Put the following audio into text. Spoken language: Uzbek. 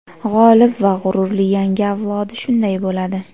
g‘olib va g‘ururli yangi avlodi shunday bo‘ladi!.